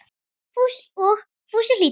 Og Fúsi hlýddi.